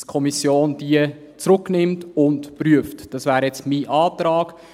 Dass die Kommission diese zurücknimmt und prüft, das wäre jetzt mein Antrag.